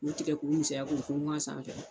U tigɛ k'u misɛya k'u funfun a sanfɛ.